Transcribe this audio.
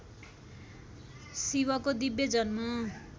शिवको दिव्य जन्म